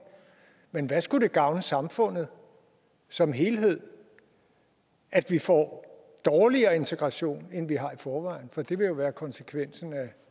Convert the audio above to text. men hvad skulle det gavne samfundet som helhed at vi får dårligere integration end vi har i forvejen for det vil jo være konsekvensen af